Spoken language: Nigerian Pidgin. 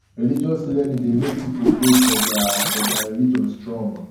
religious learning dey make pipo faith for their for their religion strong